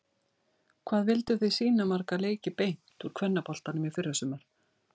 Hvað vilduð þið sýna marga leiki beint úr kvennaboltanum í fyrrasumar?